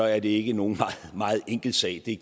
er det ikke nogen meget enkel sag det